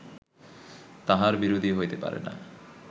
তাঁহার বিরোধী হইতে পারে না